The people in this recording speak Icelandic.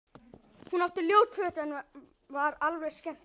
Hún átti ljót föt en var alveg skemmtileg.